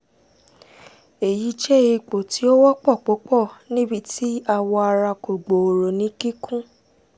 eyi jẹ ipo ti o wọpọ pupọ nibiti awọ ara ko gbooro ni kikun